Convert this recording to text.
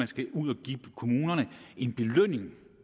skal ud og give kommunerne en belønning